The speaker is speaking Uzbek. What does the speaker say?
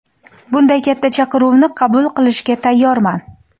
Bunday katta chaqiruvni qabul qilishga tayyorman.